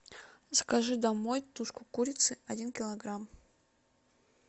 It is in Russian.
закажи домой тушку курицы один килограмм